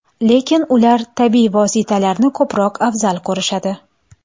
Lekin ular tabiiy vositalarni ko‘proq afzal ko‘rishadi.